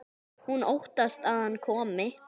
Hún óttast að hann komi.